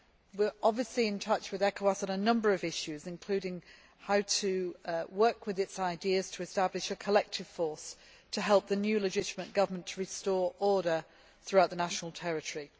We are in contact with ECOWAS on a number of issues, including how to work with its ideas to establish a collective force to help the new, legitimate government to restore order throughout the national territory.